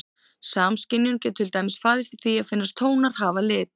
Samskynjun getur til dæmis falist í því að finnast tónar hafa lit.